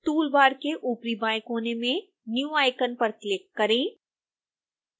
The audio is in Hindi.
tool bar के ऊपरी बाएं कोने में new icon पर क्लिक करें